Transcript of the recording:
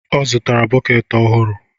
Ọ zụtara bọket ọhụrụ.